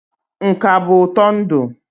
Nka bụ ụtọ ndụ.